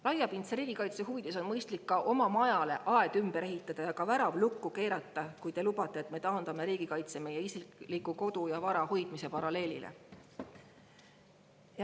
Laiapindse riigikaitse huvides on mõistlik ka oma majale aed ümber ehitada ja värav lukku keerata – kui te lubate, et me taandame riigikaitse meie isikliku kodu ja vara hoidmise paralleelile.